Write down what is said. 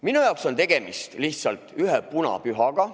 Minu jaoks on tegemist lihtsalt ühe punapühaga.